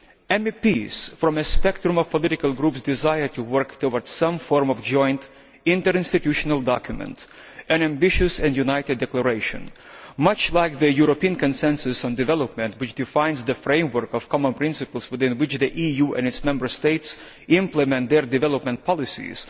MEPs from a wide spectrum of political groups desire to work towards some form of joint interinstitutional document, an ambitious and united declaration, much like the European consensus on development, which defines the framework of common principles within which the EU and its Member States implement their development policies.